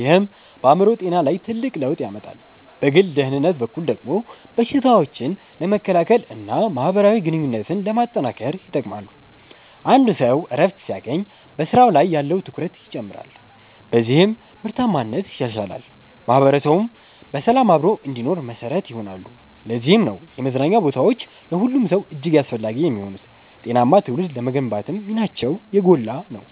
ይህም በአእምሮ ጤና ላይ ትልቅ ለውጥ ያመጣል። በግል ደህንነት በኩል ደግሞ በሽታዎችን ለመከላከልና ማህበራዊ ግንኙነትን ለማጠናከር ይጠቅማሉ። አንድ ሰው እረፍት ሲያገኝ በስራው ላይ ያለው ትኩረት ይጨምራል፤ በዚህም ምርታማነት ይሻሻላል። ማህበረሰቡም በሰላም አብሮ እንዲኖር መሰረት ይሆናሉ። ለዚህም ነው የመዝናኛ ቦታዎች ለሁሉም ሰው እጅግ አስፈላጊ የሚሆኑት፤ ጤናማ ትውልድ ለመገንባትም ሚናቸው የጎላ ነው።